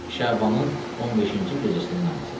Şabanın 15-ci gecəsinin namazıdır.